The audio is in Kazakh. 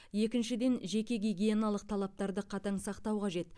екіншіден жеке гигиеналық талаптарды қатаң сақтау қажет